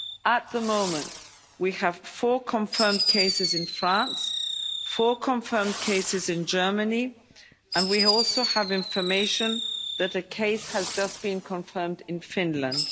At the moment we have four confirmed cases in France, four confirmed cases in Germany, and we also have information that a case has just been confirmed in Finland.